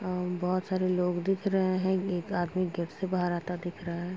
अं बहोत सारे लोग दिख रहे हैं। एक आदमी गेट से बाहर आता दिख रहा है।